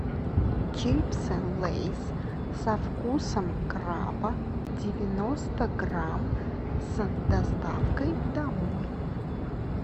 чипсы лейс со вкусом краба девяносто грамм с доставкой домой